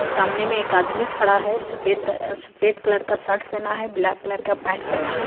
और सामने में एक आदमी खड़ा है सफेद र अ सफ़ेद कलर का सर्ट पहना है ब्लैक कलर का पैंट पहना है।